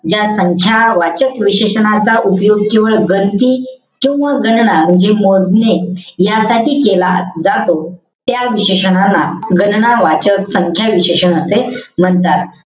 ज्या संख्या वाचक विशेषणाचा उपयोग किंवा गणती किंवा गणना म्हणजे मोजणी यासाठी केला जातो. त्या विशेषनाला गणना वाचक संख्या विशेषण असे म्हणतात.